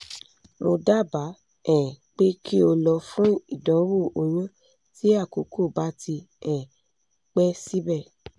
mo daba um pe ki o lọ fun idanwo oyun ti akoko ba ti um pẹ sibẹ